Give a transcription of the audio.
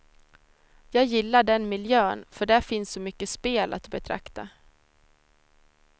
Jag gillar den miljön, för där finns så mycket spel att betrakta.